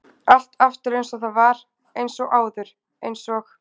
Allt aftur eins og það var- eins og áður- eins og-